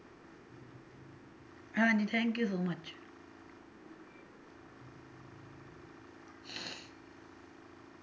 ਹਾਂਜੀ thank you so much